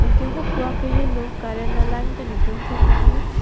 anke hapu kaheno current line ta ne tum thek long ji.